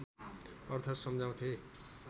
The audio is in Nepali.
अर्थ सम्झाउँथे